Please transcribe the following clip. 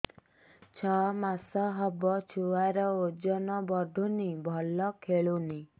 ଛଅ ମାସ ହବ ଛୁଆର ଓଜନ ବଢୁନି ଭଲ ଖେଳୁନି